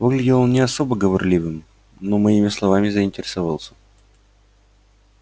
выглядел он не особо говорливым но моими словами заинтересовался